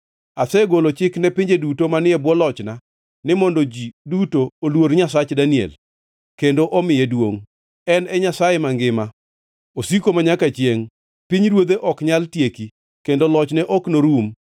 Asegolo chik ne pinje duto manie bwo lochna ni mondo ji duto oluor Nyasach Daniel kendo omiye duongʼ. “En e Nyasaye mangima; osiko manyaka chiengʼ; pinyruodhe ok nyal tieki, kendo lochne ok norum.